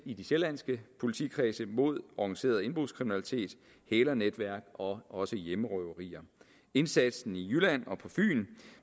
i de sjællandske politikredse mod organiseret indbrudskriminalitet hælernetværk og også hjemmerøverier indsatsen i jylland og på fyn